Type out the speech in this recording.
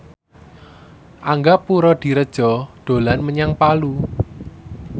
Angga Puradiredja dolan menyang Palu